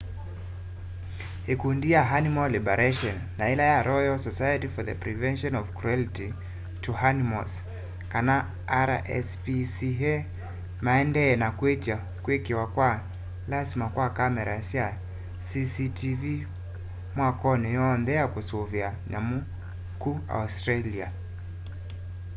ikundi ya animal liberation na yila ya royal society for the prevention of cruelty to animals kana rspca maendeeye na kwitya kwikiwa kwa lasima kwa kamera sya cctv mwakoni yoonthe ya kusuvia nyamu ku australia